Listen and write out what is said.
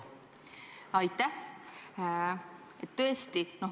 Aitäh!